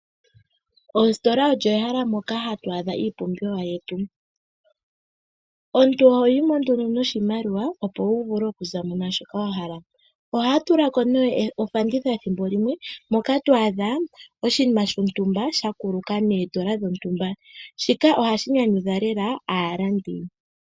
Ostola olyo ehala moka hatu adha iipumbiwa yetu. Omuntu ohoyi mo nduno noshimakiwa opo wu vule oku zamo nashoka wa hala, oha ya tulako ne ofanditha thimbo limwe moka twadha oshinima shontumba sha kuluka nondola dhontumba. Shika ohashi nyanyudha lela aalandi.